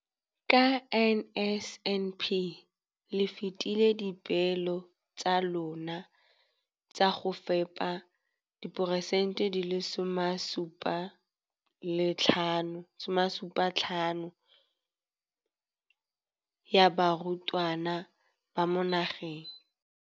Ka NSNP le fetile dipeelo tsa lona tsa go fepa masome a supa le botlhano a diperesente ya barutwana ba mo nageng.